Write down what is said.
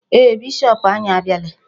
Ee, bishop anyị abịala.